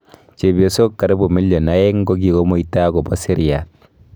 chepyosok karibu million aeng kokikomuita akobo seriat.